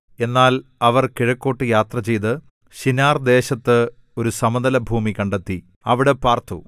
എന്നാൽ അവർ കിഴക്കോട്ടു യാത്ര ചെയ്ത് ശിനാർ ദേശത്ത് ഒരു സമതലഭൂമി കണ്ടെത്തി അവിടെ പാർത്തു